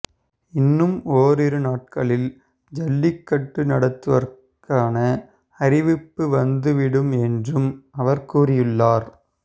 இன்னும் ஓரிரு நாட்களில் ஜல்லிக்கட்டு நடத்துவதற்கான அறிவிப்பு வந்து விடும் என்றும் அவர் கூறியுள்ளார்